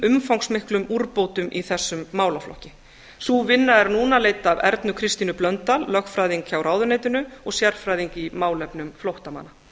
umfangsmiklum úrbótum í þessum málaflokk sú vinna er núna leidd af ernu kristínu blöndal lögfræðingi hjá ráðuneytinu og sérfræðing í málefnum flóttamanna